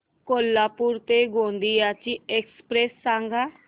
कोल्हापूर ते गोंदिया ची एक्स्प्रेस सांगा